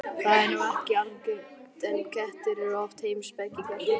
Það er nú ekki algengt, en kettir eru oft heimspekingar.